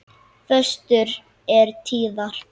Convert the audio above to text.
Föstur eru tíðar.